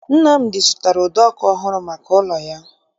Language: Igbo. Nnamdi zụtara ụdọ ọkụ ọhụrụ maka ụlọ ya